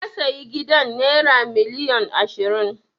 Na sayi gidan naira miliyon ashirin.